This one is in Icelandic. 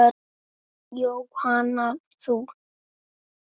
Jóhanna: Þú?